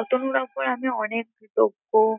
অতনুর ওপর অনেক কৃতজ্ঞ